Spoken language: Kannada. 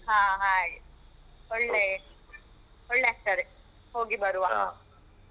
ಹ ಹಾ ಹಾಗೆ ಒಳ್ಳೆ ಒಳ್ಳೆ ಆಗ್ತದೆ ಹೋಗಿ ಬರುವ.